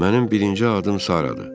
Mənim birinci adım Saradır.